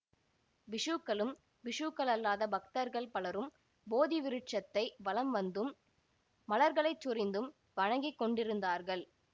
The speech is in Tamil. பிக்ஷுக்களும் பிக்ஷுக்களல்லாத பக்தர்கள் பலரும் போதி விருட்சத்தை வலம் வந்தும் மலர்களைச் சொரிந்தும் வணங்கிக் கொண்டிருந்தார்கள்